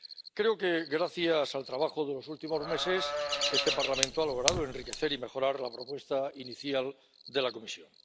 Creo que, gracias al trabajo de los últimos meses, este Parlamento ha logrado enriquecer y mejorar la propuesta inicial de la Comisión.